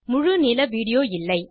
முழு நீள வீடியோ இல்லை